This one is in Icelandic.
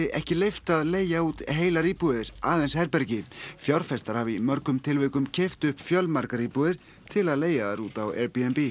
ekki leyft að leigja út heilar íbúðir aðeins herbergi fjárfestar hafi í mörgum tilvikum keypt upp fjölmargar íbúðir til að leigja þær út á Airbnb